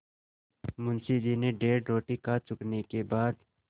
मुंशी जी डेढ़ रोटी खा चुकने के बाद